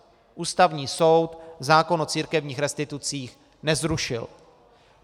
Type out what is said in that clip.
Ústavní soud zákon o církevních restitucích nezrušil.